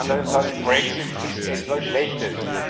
die anderen sagen Brexit ist etwas Schlechtes.